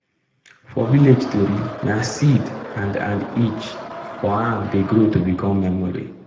for village tori na seed and and each for am dey grow to become memory.